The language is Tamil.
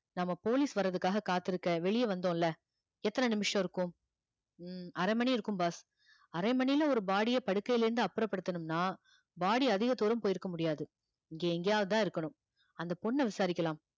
நம்ம police வர்றதுக்காக காத்திருக்க வெளிய வந்தோம்ல எத்தன நிமிஷம் இருக்கும் உம் அரை மணி இருக்கும் boss அரை மணியில ஒரு body ய படுக்கையில இருந்து அப்புறப்படுத்தணும்னா body அதிக தூரம் போயிருக்க முடியாது இங்க எங்கேயாவது தான் இருக்கணும் அந்த பொண்ணை விசாரிக்கலாம்